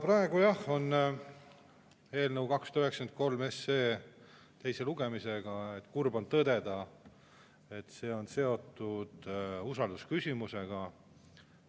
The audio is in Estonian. Praegu on jah eelnõu 293 teine lugemine ja kurb on tõdeda, et see on seotud usaldusküsimusega.